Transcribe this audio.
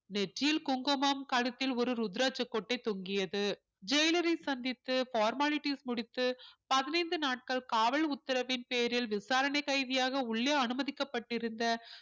நெற்றியில் குங்குமம் கழுத்தில் ஒரு ருத்ராட்ச கொட்டை தொங்கியது jailer ஐ சந்தித்து formalities முடித்து பதினைந்து நாட்கள் காவல் உத்தரவின் பேரில் விசாரணை கைதியாக உள்ளே அனுமதிக்கப்பட்டிருந்த